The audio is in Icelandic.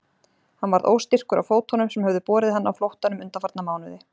Hann varð óstyrkur á fótunum sem höfðu borið hann á flóttanum undanfarna mánuði.